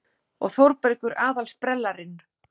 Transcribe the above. Og Þórbergur aðal-sprellarinn.